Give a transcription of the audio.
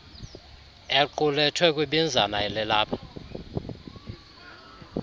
equlethwe kwibinzana elilapha